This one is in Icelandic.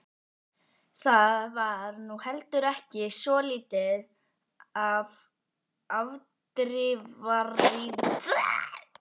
Það var nú heldur ekki svo lítið afdrifaríkt ferðalag.